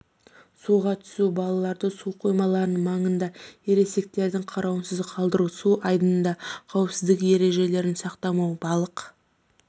суға түсу балаларды су қоймаларының маңында ересектердің қарауынсыз қалдыру су айдынында қауіпсіздік ережелерін сақтамау балық